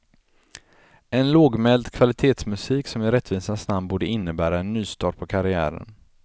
En lågmäld kvalitetsmusik som i rättvisans namn borde innebära en nystart på karriären.